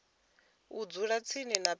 u dzula dzi tshi penya